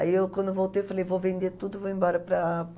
Aí eu, quando eu voltei, falei, vou vender tudo e vou embora para